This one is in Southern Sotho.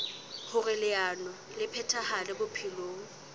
hoer leano le phethahale bophelong